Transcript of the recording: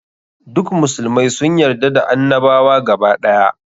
Duk musulmai sun yarda da annabawa gaba ɗaya.